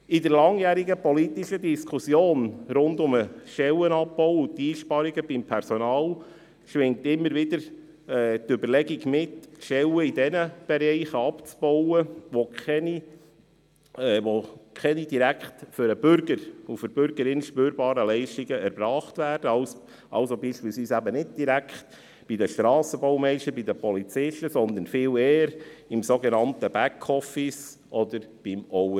In der langjährigen politischen Diskussion um den Stellenabbau und die Einsparungen beim Personal schwingt immer wieder die Überlegung mit, Stellen dort abzubauen, wo keine direkt für den Bürger und die Bürgerin spürbaren Leistungen erbracht werden, also zum Beispiel nicht direkt bei den Strassenbaumeistern oder den Polizisten, sondern viel eher im sogenannten Backoffice oder beim Overhead.